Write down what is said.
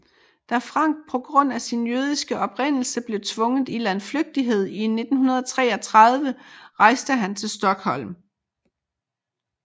Da Frank på grund af sin jødiske oprindelse blev tvunget i landflygtighed i 1933 rejste han til Stockholm